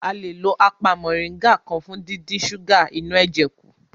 A le lo apá mọ̀nríngà kan fún díndín súgà inú ẹ̀jẹ̀ kù